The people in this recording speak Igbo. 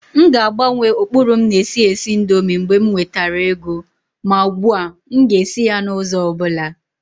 M ga-agbanwe ụkpụrụ m na-esi esi indomie mgbe m nwetara ego. Ma ugbu a, m ga-esi ya n'ụzọ ọ bụla.